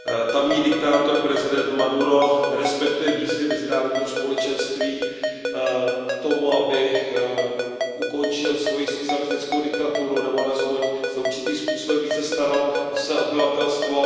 Tamní diktátor, prezident Maduro, nerespektuje výzvy mezinárodního společenství k tomu, aby ukončil svoji socialistickou diktaturu nebo alespoň se určitým způsobem více staral o své obyvatelstvo.